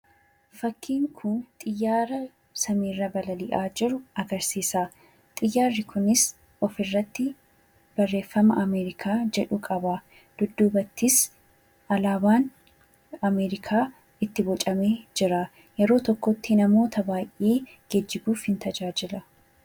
Fakkiin kun xiyyaara samiirra balali'aa jiru agarsiisa. Xiyyaarri kunis ofirratti barreeffama 'Amerikaa' jedhu qaba. Dudduubattis alaabaan Amerikaa itti bocamee jira. Yeroo tokkotti namoota baay'ee geejjibuuf in tajaajila.